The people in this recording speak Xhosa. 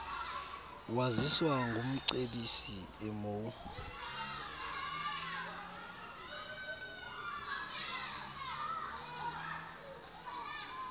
waziswa ngumcebisi emou